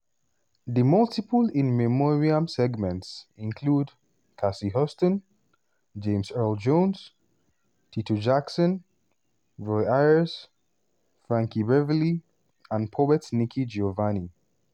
the multiple in memoriam segments included cissy houston james earl jones tito jackson roy ayers frankie beverly and poet nikki giovanni.